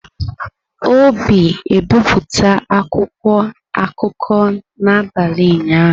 Obi ebipụta akwụkwọ akụkọ n'abalị ụnyaahụ.